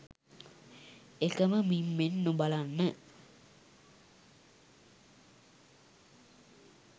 එකම මිම්මෙන් නොබලන්න.